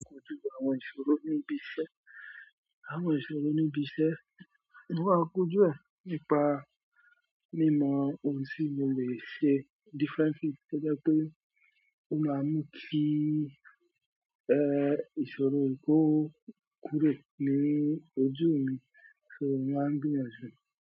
A kójú àwọn ìṣòro níbi iṣẹ́. Àwọn ìṣòro níbi iṣẹ́, mo máa kójú ẹ nípa mímọ ohun tí mo lè ṣe. Difference ti pé jẹ́ pé ó máa mú kí ẹ́ ìṣòro kò kúrò ní ojú mi, ṣo mó máa gbinyanju.